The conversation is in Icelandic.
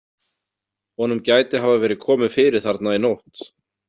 Honum gæti hafa verið komið fyrir þarna í nótt.